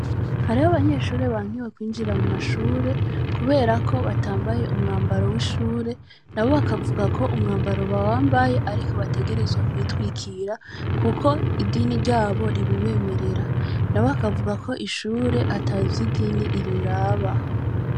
Hariho abanyeshure bankiwe kwinjira mu mashure, kubera ko batambaye umwambaro w' ishure. Nabo bavuga ko umwambaro bawambaye, ariko bategerezwa kwitwikira kuko idini ryabo ribibemerera, nabo bakavuga ko ishure ata vy' idini riraba.